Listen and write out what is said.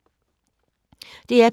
DR P2